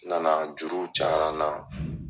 N nana juruw cayara n na.